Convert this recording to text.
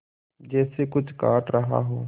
जैसे कुछ काट रहा हो